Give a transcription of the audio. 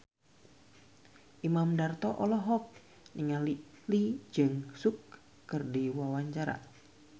Imam Darto olohok ningali Lee Jeong Suk keur diwawancara